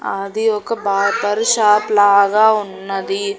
ఆది ఒక barber shop లాగా ఉన్నది.